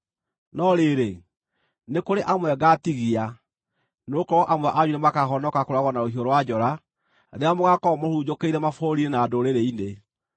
“ ‘No rĩrĩ, nĩ kũrĩ amwe ngaatigia, nĩgũkorwo amwe anyu nĩmakahonoka kũũragwo na rũhiũ rwa njora rĩrĩa mũgaakorwo mũhurunjũkĩire mabũrũri-inĩ na ndũrĩrĩ-inĩ.